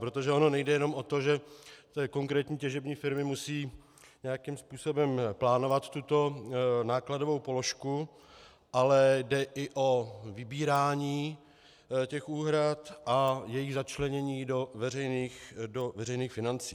Protože ono nejde jenom o to, že konkrétní těžební firmy musejí nějakým způsobem plánovat tuto nákladovou položku, ale jde i o vybírání těch úhrad a jejich začlenění do veřejných financí.